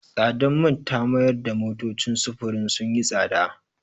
Tsadar man ta mayar da motocin sufurin sun yi tsada.